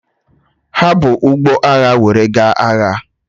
Ha bu ụgbọ agha were gaa agha.